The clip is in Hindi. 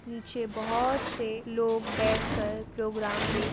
नीचे बहुत से लोग बैठे कर प्रोग्राम दे --